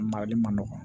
Marali man nɔgɔ